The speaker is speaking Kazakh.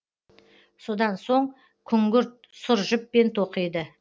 содан соң күңгірт сұр жіппен тоқиды